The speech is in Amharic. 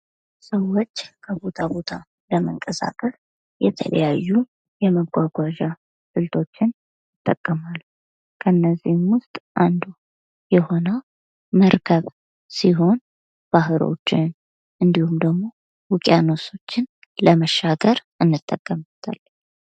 ሰወች ከቦታ ቦታ ለመንቀሳቀስ የተለያዩ የመጓጓዝ ስልቶችን ይጠቁማሉ። ከእነዚህም ውስጥ አንዱ የሆነው መርከብ ስሆን ባህሮችን እንዲሁም ደግሞ ውቅያኖሶችን ለመሻገር እንጠቀምበታለን።